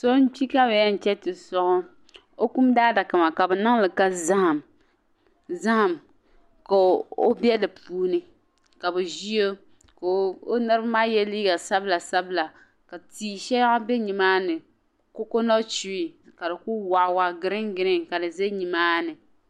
So n kpi ka bi yem chaŋ ti soɣi o kum daa daka maa ka di be ka zahima ka o be di puuni ka bi ʒi o ka o niriba maa ye liiga sabila sabila ka tia shaŋa be nimaani "cocoa nut tree" ka di ku waɣa waɣa green green ka di za nimaani.